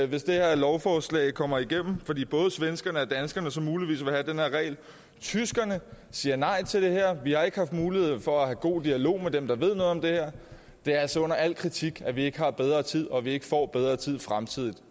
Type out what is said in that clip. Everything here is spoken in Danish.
hvis det her lovforslag går igennem fordi både svenskerne og danskerne så muligvis vil have den her regel tyskerne siger nej til det her vi har ikke haft mulighed for at have en god dialog med dem der ved noget om det her det er altså under al kritik at vi ikke har bedre tid og at vi ikke får bedre tid i fremtiden